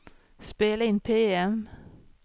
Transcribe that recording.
spela in PM